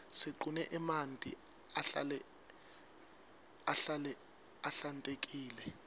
siqune emanti ahlale ahlale ahlantekile